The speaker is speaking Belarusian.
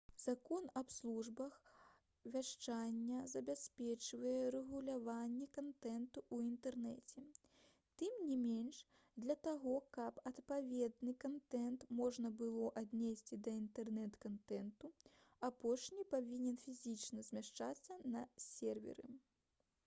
закон аб службах вяшчання забяспечвае рэгуляванне кантэнту ў інтэрнэце тым не менш для таго каб адпаведны кантэнт можна было аднесці да інтэрнэт-кантэнту апошні павінен фізічна змяшчацца на серверы